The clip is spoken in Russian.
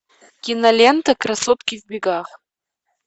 кинолента красотки в бегах